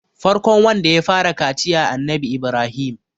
farkon wanda ya fara kaciya Annabi Ibrahim